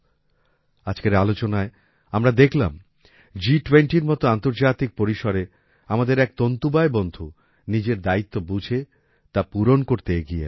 আজকের আলোচনায় আমরা দেখলাম G20র মত আন্তর্জাতিক পরিসরে আমাদের এক তন্তুবায় বন্ধু নিজের দায়িত্ব বুঝে তা পূরণ করতে এগিয়ে এলেন